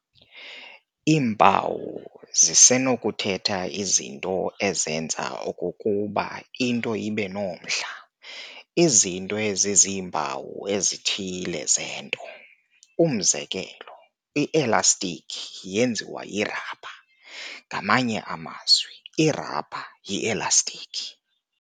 Iimpawu zisenokuthetha izinto ezenza okokuba into ibenomdla- izinto eziziimpawu ezithile zento. umzekelo, "I-Elastiki yenziwa yirhabha", ngamanye amazwi irhabha yielastiki.